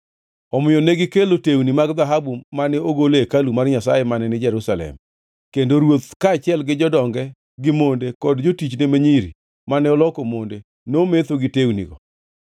Omiyo negikelo tewni mag dhahabu mane ogol e hekalu mar Nyasaye mane ni Jerusalem, kendo ruoth kaachiel gi jodonge gi monde kod jotichne ma nyiri mane oloko monde nometho gi tewnigo.